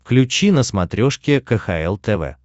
включи на смотрешке кхл тв